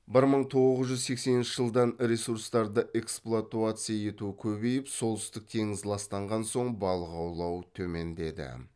бір мың тоғыз жүз сексенінші жылдан ресурстарды эксплуатация ету көбейіп солтүстік теңіз ластанған соң балық аулау төмендеді